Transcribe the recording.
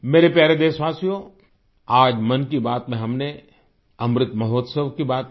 मेरे प्यारे देशवासियो आज मन की बात में हमने अमृत महोत्सव की बात की